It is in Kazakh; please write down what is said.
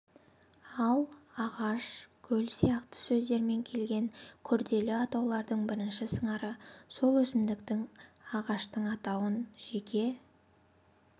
ал ағаш гүл сияқты сөздермен келген күрделі атаулардың бірінші сыңары сол өсімдіктің ағаштың атауын жеке